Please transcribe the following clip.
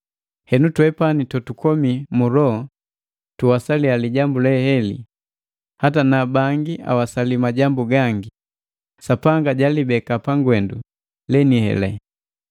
Henu twepani totukomi mu loho tuwasaliya lijambu lelele, hata na bangi awasali majambu gangi, Sapanga jalibeka pagwendu leniheli.